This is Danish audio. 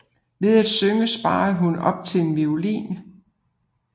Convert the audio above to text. Ved at synge sparede hun op til en violin